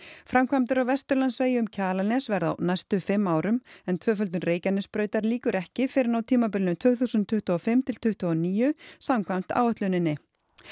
framkvæmdir á Vesturlandsvegi um Kjalarnes verða á næstu fimm árum en tvöföldun Reykjanesbrautar lýkur ekki fyrr en á tímabilinu tvö þúsund tuttugu og fimm til tuttugu og níu samkvæmt áætluninni